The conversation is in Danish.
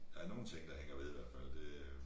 Der nogen ting der hænger ved i hvert fald